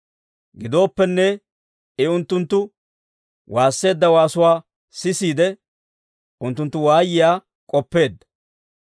Gidooppenne, I unttunttu waasseedda waasuwaa sisiide, unttunttu waayiyaa k'oppeedda.